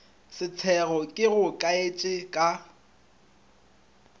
setšego ke go kaetše ka